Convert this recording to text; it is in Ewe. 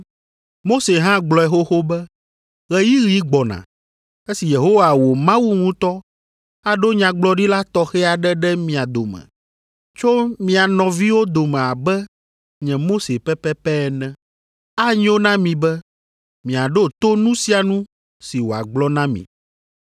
Mose hã gblɔe xoxo be, ‘Ɣeyiɣi gbɔna, esi Yehowa wò Mawu ŋutɔ aɖo nyagblɔɖila tɔxɛ aɖe ɖe mia dome, tso mia nɔviwo dome abe nye Mose pɛpɛpɛ ene. Anyo na mi be miaɖo to nu sia nu si wòagblɔ na mi,